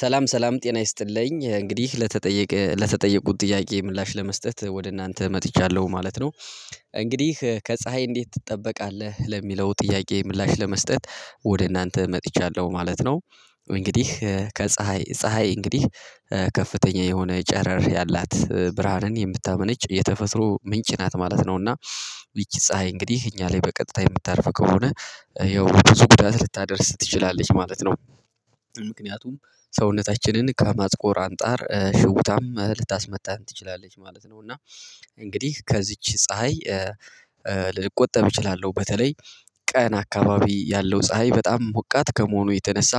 ሰላም ሰላም ጤና ይስጥልኝ እንግዲህ ለተጠየቀ ለተጠየቁት ጥያቄ ምላሽ ለመስጠት ወደ እናንተ መጥቻለሁ ማለት ነው እንግዲህ ከፀሀይ እንዴት ትጠበቃለህ? ለሚለው ጥያቄ ምላሽ ለመስጠት ወደ እናንተ መጥቻለሁ ማለት ነው እንግዲህ ከፀሀይ ፀሀይ እንግዲህ ከፍተኛ የሆነ ጨረር ያላት ብርሃንን የምታመነጭ የተፈጥሮ ምንጭ ናት ማለት ነው እና ይቺ ፀሀይ እንግዲህ እኛ ላይ በቀጥታ የምታርፍ ከሆነ ያው ብዙ ጉዳት ልታደርስ ትችላለች ማለት ነው ምክንያቱም ሰውነታችንን ከማጥቆር አንጣር ሽውታም ልታስመታ ትችላለች ማለት ነው እና እንግዲህ ከዚች ፀሀይ ልቆጠብ እችላለሁ በተለይ ቀን አካባቢ ያለው ፀሀይ በጣም ሞቃት ከመሆኑ የተነሳ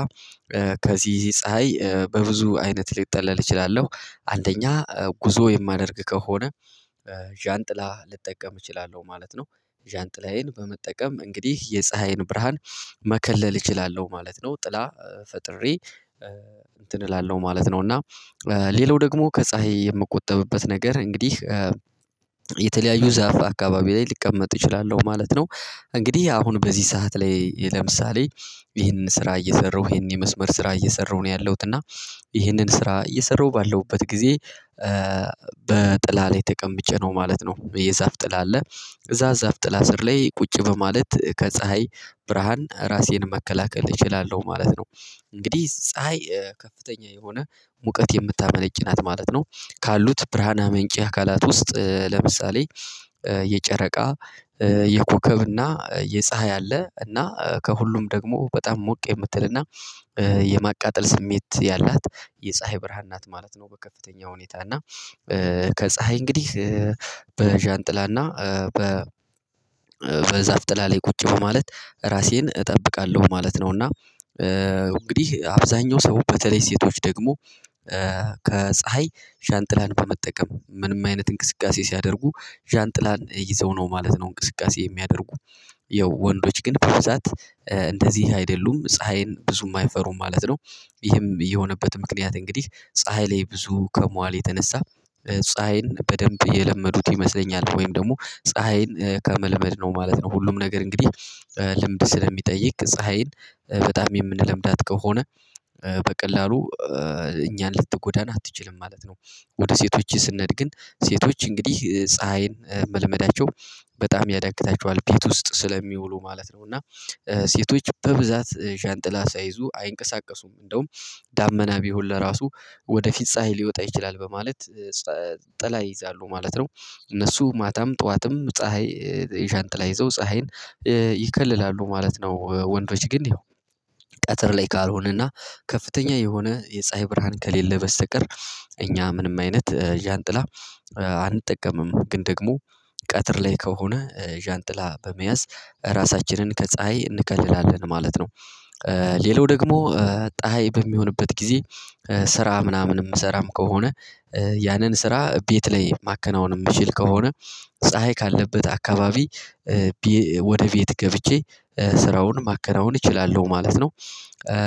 ከዚህ ፀሀይ በብዙ አይነት ልጠለል እችላለሁ አንደኛ ጉዞ የማደርግ ከሆነ ዣንጥላ መጠቀም እችላለሁ ማለት ነው ዣንጥላዬን በመጠቀም እንግዲህ የፀሀይን ብርሃን መከለል እችላለሁ ማለት ነው ጥላ ፈጥሬ እንትን እላለሁ ማለት ነው እና ሌላው ደግሞ ከፀሀይ የምቆጠብበት ነገር እንግዲህ የተለያዩ ዛፍ አካባቢ ላይ ልቀመጥ እችላለሁ ማለት ነው እንግዲህ አሁን በዚህ ሰዓት ላይ ለምሳሌ ይህንን ስራ እየሰራሁ ይህንን የመስመር ስራ እየሰራሁ ነው ያለሁት እና ይህንን ስራ እየሰራሁ ባለሁበት ጊዜ በጥላ ላይ ተቀምጬ ነው ማለት ነው የዛፍ ጥላ አለ እዛ ዛፍ ጥላ ስር ላይ ቁጭ በማለት ከፀሀይ ብርሃን ራሴን መከላከል እችላለሁ ማለት ነው እንግዲህ ፀሀይ ከፍተኛ የሆነ ሙቀት የምታመነጭ ናት ማለት ነው ካሉት ብርሃን አ መንጪ አካላት ውስጥ ለምሳሌ የጨረቃ የኮከብና የፀሀይ አለ እና ከሁሉም ደግሞ በጣም ሞቅ የምትልና የማቃጠል ስሜት ያላት የፀሀይ ብርሃን ናት ማለት ነው በከፍተኛ ሁኔታ እና ከፀሀይ እንግዲህ በዣንጥላ እና በ በዛፍ ጥላ ላይ ቁጭ በማለት ራሴን እጠብቃለሁ ማለት ነው እና እንግዲህ አብዛኛው ሰው በተለይ ሴቶች ደግሞ ከፀሀይ ሻንጥላን በመጠቀም ምንም አይነት እንቅስቃሴ ሲያደርጉ ዣንጥላን ይዘው ነው ማለት ነው እንቅስቃሴ የሚያደርጉ ይኸው ወንዶች ግን በብዛት እንደዚህ አይደሉም ፀሀይን ብዙ የማይፈሩ ማለት ነው ይህም የሆነበት ምክንያት እንግዲህ ፀሀይ ላይ ብዙ ከሟል የተነሳ ፀሀይን በደንብ የለመዱት ይመስለኛል ወይም ደግሞ ፀሀይን ከመለመድ ነው ማለት ነው ሁሉም ነገር እንግዲህ ልምድ ስለሚጠይቅ ፀሀይን በጣም የምንለምዳት ከሆነ በቀላሉ እኛን ልትጎዳን አትችልም ማለት ነው ወደ ሴቶች ስንሄድ ግን ሴቶች እንግዲህ ፀሀይን መለመዳቸው በጣም ያዳግታቸዋል ቤት ውስጥ ስለሚውሉ ማለት ነው እና ሴቶች በብዛት ሻንጥላ ሳይዙ አይንቀሳቀሱም እንደውም ዳመና ቢሆን ለራሱ ወደ ፊፀሀይ ሊወጣ ይችላል በማለት ጥላ ይይዛሉ ማለት ነው እነሱ ማታም ጠዋትም ፀሀይ የሻንጥላ ይዘው ፀሀይን ይከልላሉ ማለት ነው ወንዶች ግን ቀጥር ላይ ካልሆነና ከፍተኛ የሆነ የፀሀይ ብርሃን ከሌለ በስተቀር እኛ ምንም አይነት ዣንጥላ አንጠቀምም ግን ደግሞ ቀትር ላይ ከሆነ ዣንጥላ በመያዝ ራሳችንን ከፀሀይ እንከልላለን ማለት ነው ሌላው ደግሞ ፀሀይ በሚሆንበት ጊዜ ስራ ምናምን የምሰራም ከሆነ ያንን ስራ ቤት ላይ ማከናወን የምችል ከሆነ ፀሀይ ካለበት አካባቢ ወደ ቤት ገብቼ ስራውን ማከናወን እችላለሁ ማለት ነው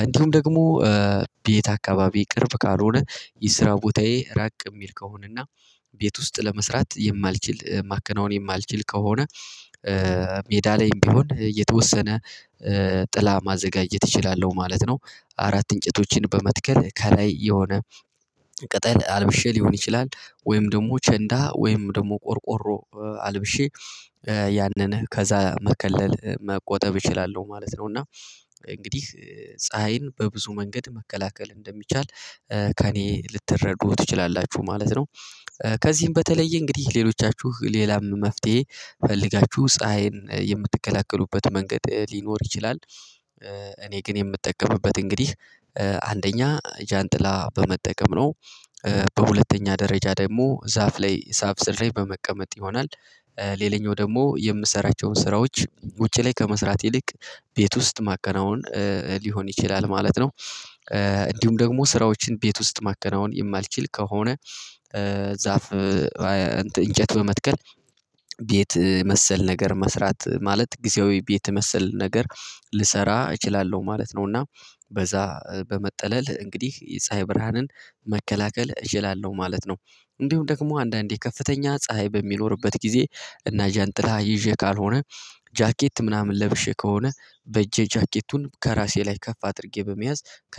እንዲሁም ደግሞ ቤት አካባቢ ቅርብ ካልሆነ የስራው ቦታዬ ራቅ ሚል ከሆነና ቤት ውስጥ ለመስራት የማልችል ማከናወን የማልችል ከሆነ ሜዳ ላይም ቢሆን የተወሰነ ጥላ ማዘጋጀት እችላለሁ ማለት ነው አራት እንጨቶችን በመትከል ከላይ የሆነ ቅጠል አልብሼ ሊሆን ይችላል ወይም ደግሞ ቸንዳ ወይም ደግሞ ቆርቆሮ አልብሼ ያንን ከዛ መከለል መቆጠብ እችላለሁ ማለት ነው እና እንግዲህ ፀሀይን በብዙ መንገድ መከላከል እንደሚቻል ከእኔ ልትረዱ ትችላላችሁ ማለት ነው ከዚህም በተለየ እንግዲህ ሌሎቻችሁ ሌላም መፍትሄ ፈልጋችሁ ፀሀይን የምትከላከሉበት መንገድ ሊኖር ይችላል እኔ ግን የምጠቀምበት እንግዲህ አንደኛ ጃንጥላ በመጠቀም ነው በሁለተኛ ደረጃ ደግሞ ዛፍ ላይ ሳብ ስር ላይ በመቀመጥ ይሆናል ሌላኛው ደግሞ የምሰራቸውን ስራዎች ውጪ ላይ ከመስራት ይልቅ ቤት ውስጥ ማከናወን ሊሆን ይችላል ማለት ነው እንዲሁም ደግሞ ስራዎችን ቤት ውስጥ ማከናወን የማልችል ከሆነ ዛፍ እንጨት በመትከል ቤት መሰል ነገር መስራት ማለት ጊዜያዊ ቤት መሰል ነገር ልሰራ እችላለሁ ማለት ነው እና በዛ በመጠለል እንግዲህ የፀሀይ ብርሃንን መከላከል እችላለሁ ማለት ነው እንዲሁ ደግሞ አንዳንዴ ከፍተኛ ፀሀይ በሚኖርበት ጊዜ እና ጃንጥላ ይዤ ካልሆነ ጃኬት ምናምን ለብሼ ከሆነ በእጄ ጃኬቱን ከራሴ ላይ ከፍ አድርጌ በመያዝ ከ